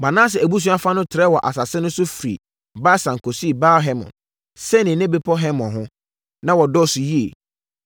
Manase abusua fa no trɛɛ wɔ asase no so firi Basan kɔsii Baal-Hermon, Senir ne bepɔ Hermon ho. Na wɔdɔɔso yie.